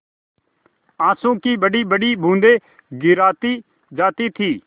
आँसू की बड़ीबड़ी बूँदें गिराती जाती थी